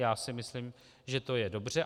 Já si myslím, že to je dobře.